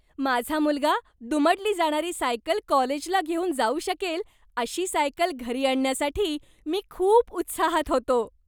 माझा मुलगा दुमडली जाणारी सायकल कॉलेजला घेऊन जाऊ शकेल, अशी सायकल घरी आणण्यासाठी मी खूप उत्साहात होतो.